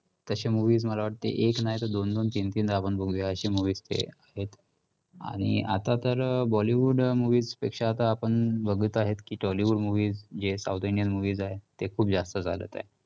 तशे movies मला वाटते एक नाही तर दोन-दोन, तीन-तीनदा बघूया अशी movies ते, आणि आता तर bollywood movies पेक्षा आता आपण बघत आहेत की tollywood movies जे south indian movies आहेत ते खूप जास्त झालेत.